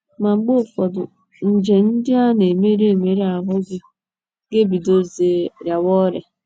Ma mgbe ụfọdụ, nje ndị a na - emeri emeri ahụ́ gị, gị ebidozie rịawa ọrịa.